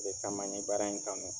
O de kama n ye baara in kanu.